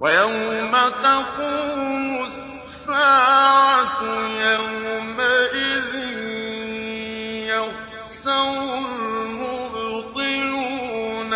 وَيَوْمَ تَقُومُ السَّاعَةُ يَوْمَئِذٍ يَخْسَرُ الْمُبْطِلُونَ